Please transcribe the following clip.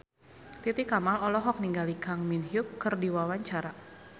Titi Kamal olohok ningali Kang Min Hyuk keur diwawancara